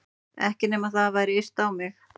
Ekki nema það væri yrt á mig.